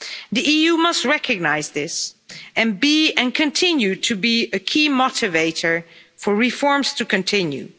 The EU must recognise this and continue to be a key motivator for reforms to continue.